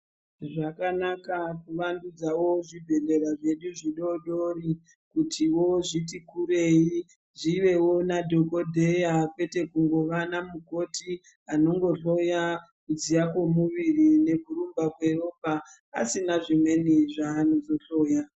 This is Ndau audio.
Zvakanaka kuvandudzawo zvibhedhlera zvedu zvidodori kutiwo zviti kurei zvivewo nadhokodheya kwete kungova namukoti anongohloya kudziya kwemuviri nekurumba kweropa asina zvimweni zvaanozohloya.